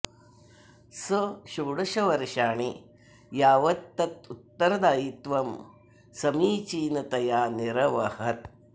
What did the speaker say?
सः षोडश वर्षाणि यावत् तत् उत्तरदायित्वं समीचीनतया निरवहत्